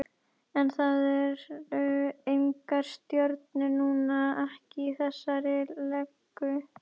En það eru engar stjörnur núna, ekki í þessari legu.